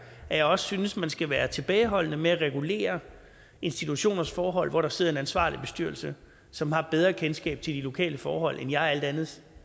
at jeg synes man skal være tilbageholdende med at regulere institutioners forhold når der sidder en ansvarlig bestyrelse som har bedre kendskab til de lokale forhold end jeg alt andet